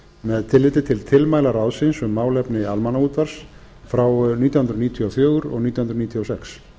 með tilliti til tilmæla ráðsins um málefni almannaútvarps frá nítján hundruð níutíu og fjögur og nítján hundruð níutíu og sex